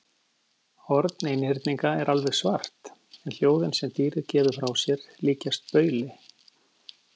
Horn einhyrninga er alveg svart en hljóðin sem dýrið gefur frá sér líkjast bauli.